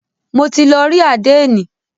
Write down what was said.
Mo ti lọ rí àdénì.